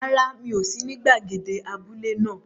Rárá, mi ò sí ní gbàgede abúlé náà.